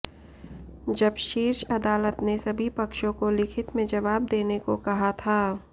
जब शीर्ष अदालत ने सभी पक्षों को लिखित में जवाब देने को कहा था